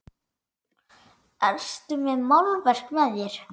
Ertu með málverk með þér?